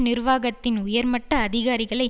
நிர்வாகத்தின் உயர் மட்ட அதிகாரிகளை